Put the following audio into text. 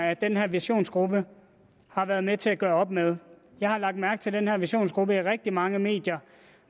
at den her visionsgruppe har været med til at gøre op med jeg har lagt mærke til den her visionsgruppe i rigtig mange medier